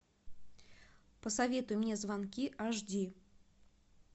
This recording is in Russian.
посоветуй мне звонки аш ди